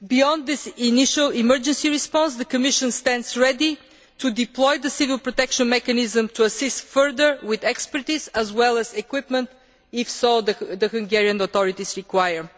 Beyond this initial emergency response, the Commission stands ready to deploy the civil protection mechanism to assist further with expertise, as well as equipment, if the Hungarian authorities so require.